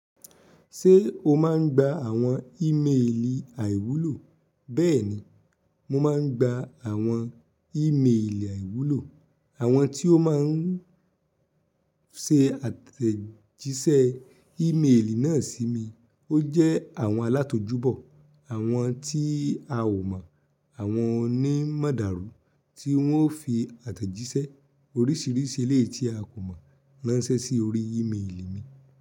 Ṣé o máa ń gba àwọn ìmeèlì àìwúlò? Bẹ́ẹ̀ni, mo máa ń gba àwọn ìmeèlì àìwúlò, àwọn tí ó máa ń ṣe àtẹ̀jíṣẹ́ ìmeèlì náà sí mi. Ó jẹ́ àwọn alátójúbọ̀ọ̀, àwọn tí a ò mọ̀, àwọn onímọ̀dàrú tí wọ́n fi àtẹ̀jíṣẹ́ oríṣìíríṣìí eleyii tí a kò mọ̀ ránṣẹ́ sí orí ìmeèlì mi.